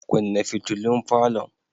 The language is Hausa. Kunna fitulun falon.